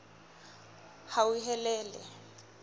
hauhelele